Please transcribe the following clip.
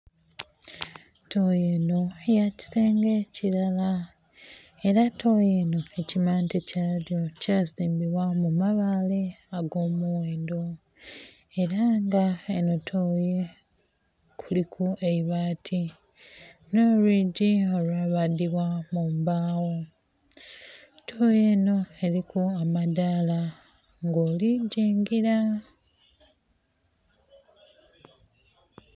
Tooyi eno yakisenge kilara era tooyi eno ekimante kyayo kyazimbiwa mu mabaale agowendho era nga eno tooyi kuliku eibaati n'olwigyi olwabadibwamu mumbawo, tooyi eno eliku amadaala nga oli kujingira